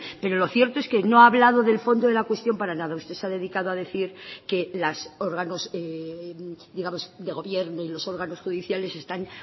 pero lo cierto es que no ha hablado del fondo de la cuestión para nada usted se ha dedicado a decir que los órganos de gobierno y los órganos judiciales están